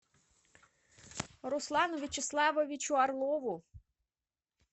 руслану вячеславовичу орлову